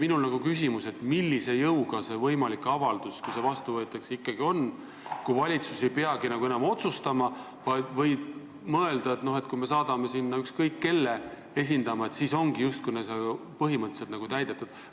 Minul tekib küsimus, millise jõuga see avaldus, kui see vastu võetakse, ikkagi on, kui valitsus ei peagi enam otsustama, vaid võib mõelda, et kui me saadame sinna ükskõik kelle meid esindama, siis on ülesanne põhimõtteliselt justkui täidetud.